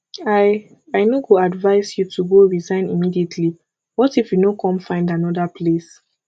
i i no go advise you to go resign immediately what if you no come find another place